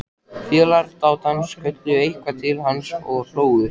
Félagar dátans kölluðu eitthvað til hans og hlógu.